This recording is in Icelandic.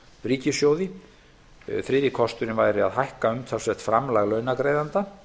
ríkissjóði þriðji kosturinn væri að hækka umtalsvert framlag launagreiðenda